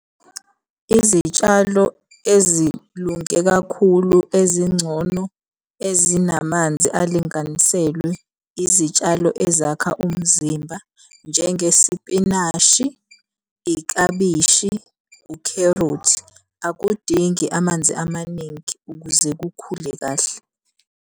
Izitshalo ezilunge kakhulu ezingcono ezinamanzi alinganiselwe, izitshalo ezakha umzimba. Njengesipinashi, iklabishi, ukherothi, akudingi amanzi amaningi ukuze kukhule kahle.